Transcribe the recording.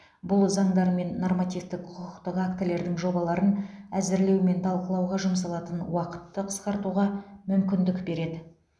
бұл заңдар мен нормативтік құқықтық актілердің жобаларын әзірлеу мен талқылауға жұмсалатын уақытты қысқартуға мүмкіндік береді